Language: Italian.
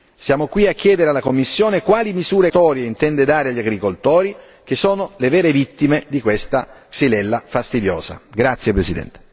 Per questo, oggi siamo qui a chiedere alla Commissione quali misure compensatorie intende dare agli agricoltori che sono le vere vittime di questa Xylella fastidiosa.